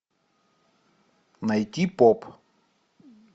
найти поп